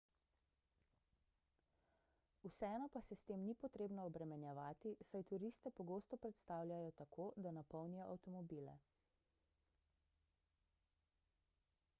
vseeno pa se s tem ni potrebno obremenjevati saj turiste pogosto prestavljajo tako da napolnijo avtomobile